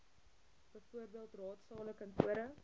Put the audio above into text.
bv raadsale kantore